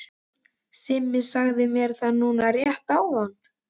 Simmi sagði mér það núna rétt áðan.